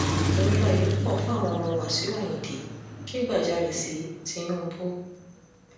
ìnira yìí pọ̀ fáwọn ọmọ wáṣíù ayíǹde kẹ́gbajarè sí tinúubú